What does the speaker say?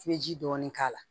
I bɛ ji dɔɔni k'a la